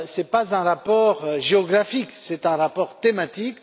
pas d'un rapport géographique, mais d'un rapport thématique.